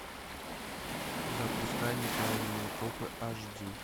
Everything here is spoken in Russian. запускай неправильные копы аш ди